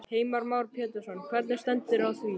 Heimir Már Pétursson: Hvernig stendur á því?